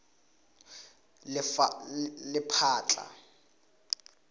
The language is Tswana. lephatla